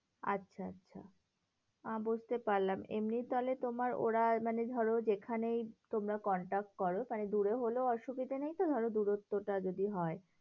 আচ্ছা আচ্ছা, বুঝতে পারলাম। এমনি তাহলে তোমার ওরা মানে ধরো যেখানেই তোমরা contract করো, মানে দূরেও হলেও অসুবিধা নেই তো ধরো দূরত্বটা যদি হয়।